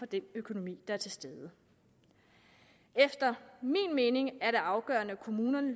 den økonomi der er til stede efter min mening er det afgørende at kommunerne